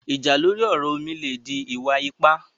Ìjà lórí ọ̀rọ̀ omi le dí ìwà-ípà